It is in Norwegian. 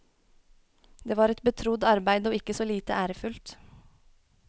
Det var et betrodd arbeid og ikke så lite ærefullt.